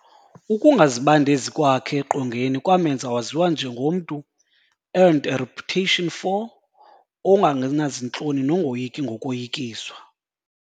Ukungazibandezi kwakhe eqongeni kwamemnza waziwa njengomntu earned a reputation for "ongangenazintloni nongoyiki ngokoyikiswa".